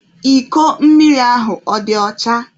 Iko mmiri ahụ ọ dị ọcha?